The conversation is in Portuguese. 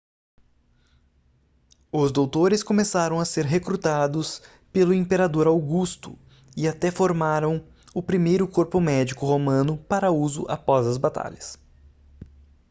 os doutores começaram a ser recrutados pelo imperador augusto e até formaram o primeiro corpo médico romano para uso após as batalhas